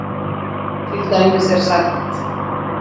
Til dæmis er sagt